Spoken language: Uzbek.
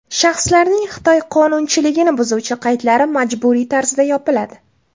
Shaxslarning Xitoy qonunchiligini buzuvchi qaydlari majburiy tarzda yopiladi.